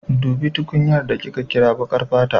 Dubi tukunyar da ke kira baƙar fata